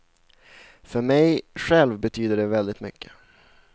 För mig själv betyder det väldigt mycket.